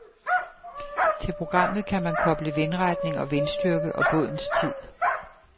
Til programmet kan man koble vindretning og vindstyrke og bådens tid.